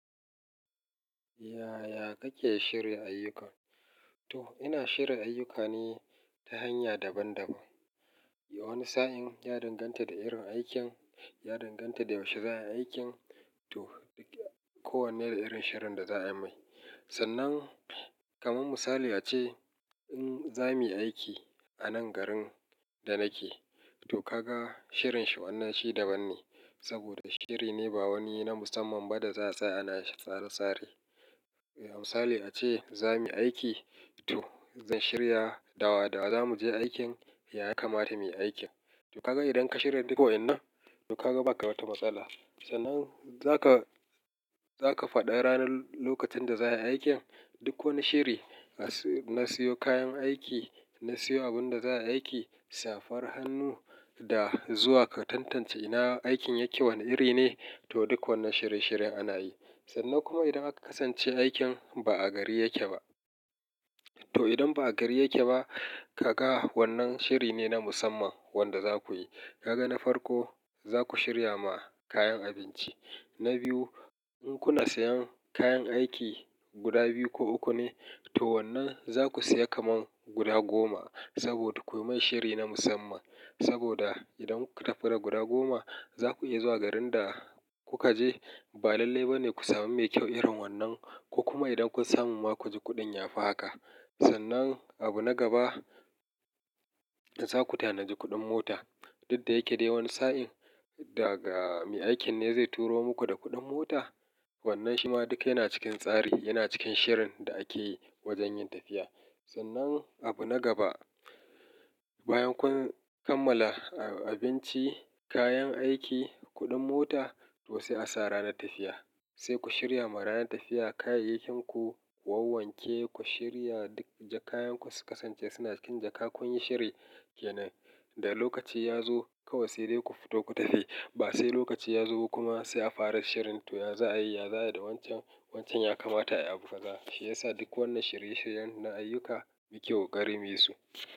Yaya kake shirya ayyuka? To ina shirn ayyuka ni ta hanya daban-daban. Wani sa'in ya danganta da irin aikin, ya danganta da yaushe za a yi aikin to kowanne da irin shirin da za a mai. Sarnan kaman misali ace, in za muyi aiki a nan garin da nake, to kaga shirin shi wannan shi daban ne saboda shiri ne ba wani na musamman ba da za a tsaya ana shi tsare-tsare. Misali ace za muyi aiki, to zan shirya dawa-dawa za mu je aikin, ya ya kamata mu yi aikin. To kaga idan ka shirya duk waƴannan to kaga ba ka mata matsala. Sannan zaka, zaka faɗa ranar lokacin da za a yi aikin duk wani shiri, na siyo kayan aiki, na siyo abun da za a yi aiki, safar hannu, da zuwa ka tantance ina aikin yake wane iri ne? To duk wannan shirye-shiryen ana yi. Sannan kuma idan aka kasance aikin ba a gari yake ba, to idan ba a gari yake ba kaga wannan shiri ne na musamman wanda za ku yi. Kaga na farko za ku shirya ma kayan abinci. Na biyu in kuna sayan kayan aiki guda biyu ko uku ne, to wannan za ku saya kaman guda goma saboda ku yi mai shiri na musamman. Saboda idan kuka tafi da guda goma za ku iya zuwa garin da kuka je ba lalle ba ne ku sami mai kyau irin wannan, ko kuma idan kun samu ma ku ji kuɗin ya fi haka. Sannan abu na gaba za ku tanadi kuɗin mota. Duk da yake dai wani sa'in daga mai aikin ne zai turo muku da kuɗin mota, wannan shi ma duka yana cikin tsari, yana cikin shirin da ake yi wajen yin tafiya. Sannan abu na gaba bayan kun kammala abinci, kayan aiki, kuɗin mota to sai a sa ranar tafiya. Sai ku shirya ma ranar tafiya kayayyakin ku, ku wawanke, ku shirya duk jakayanku su kasance suna cikin jaka kun yi shiri ke nan. Da lokaci ya zo kawai sai dai ku fito ku tafi, ba sai lokaci ya zo kuma sai a fara shirin to ya za a yi, ya za a yi da wancan, wancan ya kamata a yi abu kaza. Shi ya sa duk wannan shirye-shiryen na ayyuka, muke ƙoƙari muyi su.